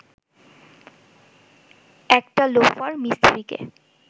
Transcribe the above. একটা লোফার মিস্ত্রিকে